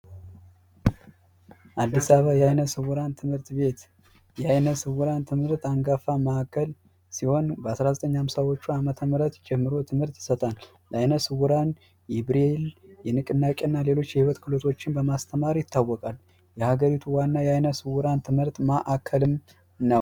አዲስ አበባ የአይነ ስውራን ትምህርት ቤት የአይነ ስውራን ትምህርት አንጋፋ ማዕከል ሲሆን በ1950 ዎቹ አመተ ምህረት ጀምሮ ትምህርት ይሰጣል። ለአይነ ስውሮቹ የብሬል፣ የንቅናቄ እና ሌሎች የህይወት ክህሎቶችን በማስተማር ይታወቃል። የሀገሪቱ ዋና የአይነ ስውራን የትምህርት ማዕከልም ነው።